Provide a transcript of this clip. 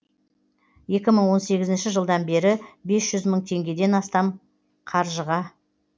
екі мың он сегізінші жылдан бері бес жүз мың теңгеден астам қаржыға